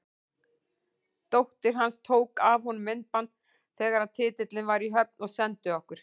Dóttir hans tók af honum myndband þegar titillinn var í höfn og sendi okkur.